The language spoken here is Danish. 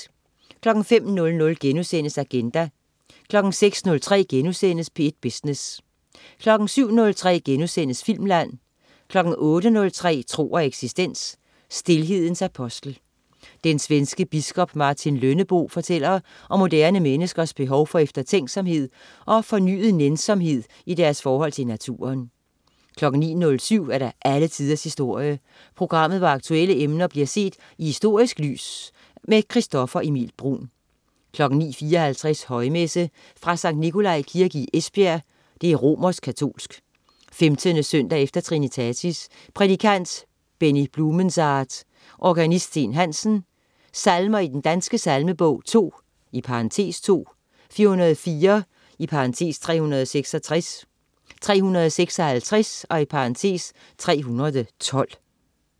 05.00 Agenda* 06.03 P1 Business* 07.03 Filmland* 08.03 Tro og eksistens. Stilhedens apostel. Den svenske biskop Martin Lönnebo fortæller om moderne menneskers behov for eftertænksomhed og fornyet nænsomhed i deres forhold til naturen 09.07 Alle tiders historie. Programmet, hvor aktuelle emner bliver set i historisk lys. Christoffer Emil Bruun 09.54 Højmesse. Fra Skt. Nikolai Kirke, Esbjerg (romersk katolsk). 15. søndag efter trinitatis. Prædikant: Benny Blumensaat. Organist: Steen Hansen. Salmer i Den Danske Salmebog: 2 (2), 404 (366), 356 (312)